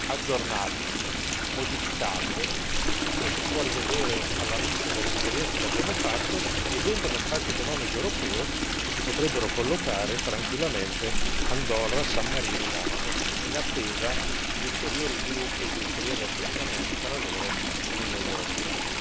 aggiornabile, modificabile, lo si può rivedere alla luce delle esperienze che abbiamo fatto e dentro lo spazio economico europeo si potrebbero collocare, tranquillamente, Andorra, San Marino e Monaco, in attesa di ulteriori sviluppi e di ulteriori avvicinamenti tra loro e l'Unione europea.